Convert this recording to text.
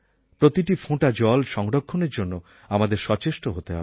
প্রতিটি ফোঁটা জল সংরক্ষণের জন্য আমাদের সচেষ্ট হতে হবে